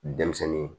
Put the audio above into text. Denmisɛnnin